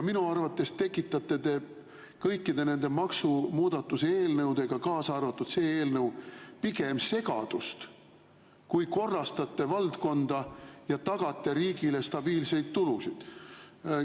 Minu arvates tekitate te kõikide nende maksumuudatuse eelnõudega, kaasa arvatud see eelnõu, pigem segadust kui korrastate valdkonda ja tagate riigile stabiilseid tulusid.